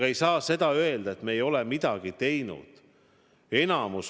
Ja ei saa ka öelda, et me ei ole midagi teinud.